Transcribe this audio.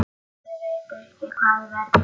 Ég veit ekki hvað verður.